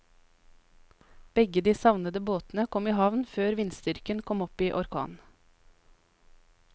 Begge de savnede båtene kom i havn før vindstyrken kom opp i orkan.